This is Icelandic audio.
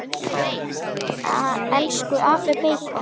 Elsku afi beikon.